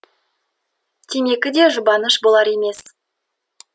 темекі де жұбаныш болар емес